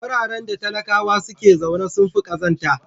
Wararen da talakawa suke zaune sun fi kazanta.